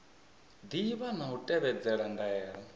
ḓivha na u tevhedzela ndaela